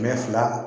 Mɛ fila